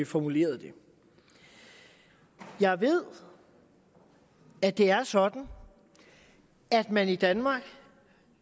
formulerede det jeg ved at det er sådan at man i danmark